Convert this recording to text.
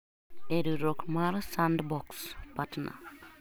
e riwruok mar kod Sandbox partner